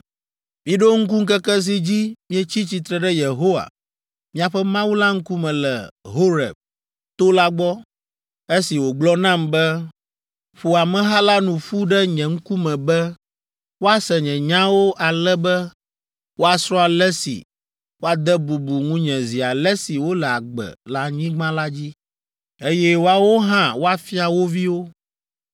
“Miɖo ŋku ŋkeke si dzi mietsi tsitre ɖe Yehowa, miaƒe Mawu la ŋkume le Horeb to la gbɔ, esi wògblɔ nam be, ‘Ƒo ameha la nu ƒu ɖe nye ŋkume be, woase nye nyawo ale be woasrɔ̃ ale si woade bubu ŋunye zi ale si wole agbe le anyigba la dzi, eye woawo hã woafia wo viwo.’